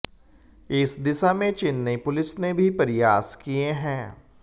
इस दिशा में चेन्नई पुलिस ने भी प्रयास किये हैं